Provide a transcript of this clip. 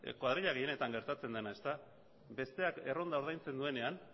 koadrila gehienetan gertatzen dena besteak erronda ordaintzen duenean